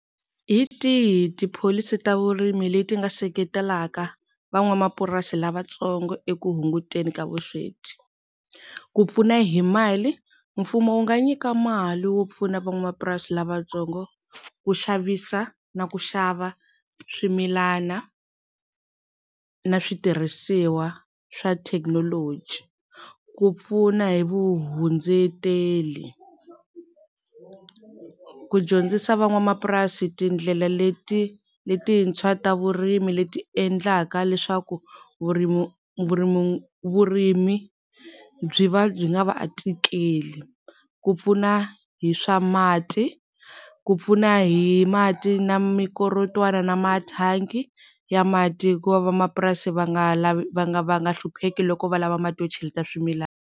Hi tihi tipholisi ta vurimi leti nga seketelaka van'wamapurasi lavatsongo eku hunguteni ka vusweti? Ku pfuna hi mali mfumo wu nga nyika mali wo pfuna van'wamapurasi lavatsongo ku xavisa na ku xava swimilana na switirhisiwa swa thekinoloji ku pfuna hi vuhundzeteli, ku dyondzisa van'wamapurasi tindlela letintshwa ta vurimi leti endlaka leswaku vurimi vurimi vurimi byi va byi nga va tikeli, ku pfuna hi swa mati ku pfuna hi mati na mikorotwana na mathangi ya mati hi ku vamapurasi va nga va nga va nga hlupheki loko va lava mati yo cheleta swimilana.